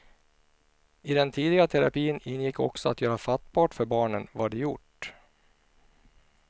I den tidiga terapin ingick också att göra fattbart för barnen vad de gjort.